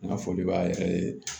N ka foli b'a yɛrɛ ye